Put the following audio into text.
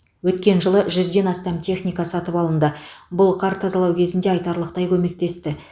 өткен жылы жүзден астам техника сатып алынды бұл қар тазалау кезінде айтарлықтай көмектесті